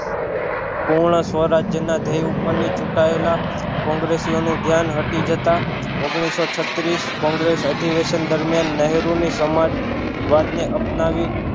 હમણાં સ્વ રાજ્ય ના ધ્યેય ઉપર ની ચૂટાયેલા કોંગ્રેસીઓનું ધ્યાન હટી જતાં ઓગનીશો છત્રીશ કોંગ્રેસ અધિવેશન દરમિયાન નેહરુ ની સમાજ વાદ ને અપનાવી